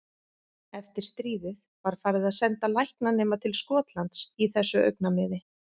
Eftir stríðið var farið að senda læknanema til Skotlands í þessu augnamiði.